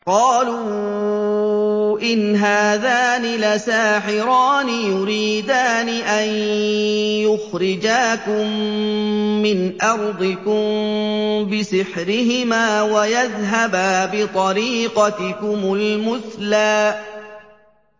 قَالُوا إِنْ هَٰذَانِ لَسَاحِرَانِ يُرِيدَانِ أَن يُخْرِجَاكُم مِّنْ أَرْضِكُم بِسِحْرِهِمَا وَيَذْهَبَا بِطَرِيقَتِكُمُ الْمُثْلَىٰ